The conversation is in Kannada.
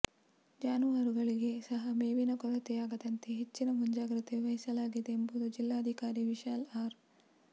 ಜಾನುವಾರುಗಳಿಗೆ ಸಹ ಮೇವಿನ ಕೊರತೆಯಾಗದಂತೆ ಹೆಚ್ಚಿನ ಮುಂಜಾಗ್ರತೆ ವಹಿಸಲಾಗಿದೆ ಎಂಬುದು ಜಿಲ್ಲಾಧಿಕಾರಿ ವಿಶಾಲ್ ಆರ್